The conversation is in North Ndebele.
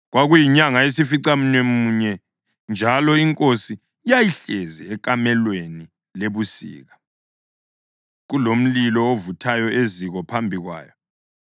Kwakuyinyanga yesificamunwemunye, njalo inkosi yayihlezi ekamelweni lebusika, kulomlilo ovuthayo eziko phambi kwayo.